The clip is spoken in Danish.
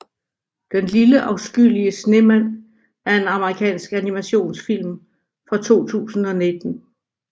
Den lille afskyelige snemand er en amerikansk animationsfilm fra 2019